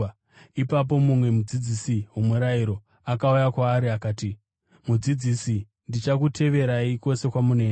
Ipapo mumwe mudzidzisi womurayiro akauya kwaari akati, “Mudzidzisi, ndichakuteverai kwose kwamunoenda.”